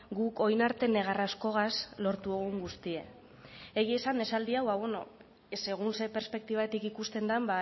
guk orain arte negar askogaz lortu dugun guztia egia esan esaldi hau bueno segun zein perspektibatik ikusten den